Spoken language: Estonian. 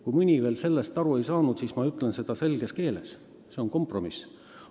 Kui mõni ei ole veel sellest aru saanud, siis ma kordan selges keeles: see eelnõu on kompromiss.